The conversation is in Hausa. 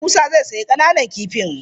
Eh Musa zai sayi ƙananan kifin.